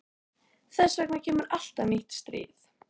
Þess vegna kemur alltaf nýtt stríð.